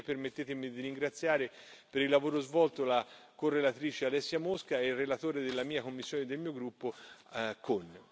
Infine permettetemi di ringraziare per il lavoro svolto la correlatrice Alessia Mosca e il relatore della mia commissione e del mio gruppo Kohn.